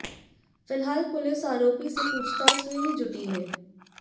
फिलहाल पुलिस आरोपी से पूछताछ में ही जुटी है